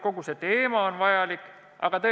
Kogu selle teemaga on vajalik tegeleda.